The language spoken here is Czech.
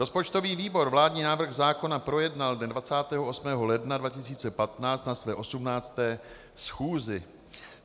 Rozpočtový výbor vládní návrh zákona projednal dne 28. ledna 2015 na své 18. schůzi.